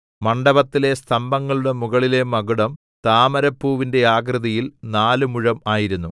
മണ്ഡപത്തിലെ സ്തംഭങ്ങളുടെ മുകളിലെ മകുടം താമരപ്പൂവിന്റെ ആകൃതിയിൽ നാല് മുഴം ആയിരുന്നു